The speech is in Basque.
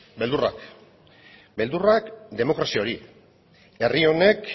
beldurrak beldurrak demokrazia hori herri honek